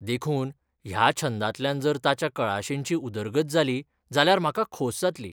देखून ह्या छंदांतल्यान जर ताच्या कळाशींची उदरगत जाली जाल्यार म्हाका खोस जातली.